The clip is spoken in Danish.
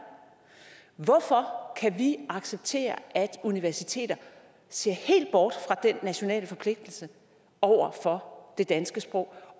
hvorfor kan vi acceptere at universiteter ser helt bort fra den nationale forpligtelse over for det danske sprog